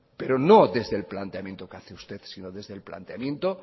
pero no desde el planteamiento que hace usted sino desde el planteamiento